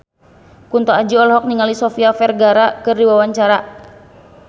Kunto Aji olohok ningali Sofia Vergara keur diwawancara